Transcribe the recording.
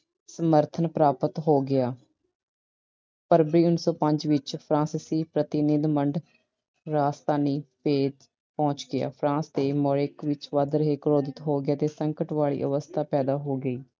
ਸਮਰਥਨ ਪ੍ਰਾਪਤ ਹੋ ਗਿਆ। ਫਰਵਰੀ, ਉਨੀ ਸੌ ਪੰਜ ਵਿੱਚ ਫਰਾਂਸੀਸੀ ਪ੍ਰਤੀਨਿੱਧ ਮੰਡ ਰਾਜਧਾਨੀ ਪਹੁੰਚ ਗਿਆ। France ਦੇ Moric ਵਿੱਚ ਵੱਧ ਰਹੇ ਕ੍ਰੋਧਿਤ ਹੋ ਗਿਆ ਅਤੇ ਸੰਕਟ ਵਾਲੀ ਅਵਸਥਾ ਪੈਦਾ ਹੋ ਗਈ।